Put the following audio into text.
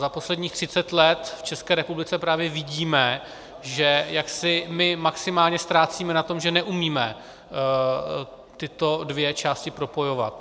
Za posledních 30 let v České republice právě vidíme, že jaksi my maximálně ztrácíme na tom, že neumíme tyto dvě části propojovat.